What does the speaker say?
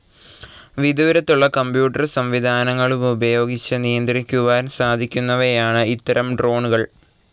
വിദൂരത്തുള്ള computer സംവിധാനങ്ങളുപയോഗിച്ച് നിയന്ത്രിക്കുവാൻ സാധിക്കുന്നവയാണ് ഇത്തരം ഡ്രോണുകൾ.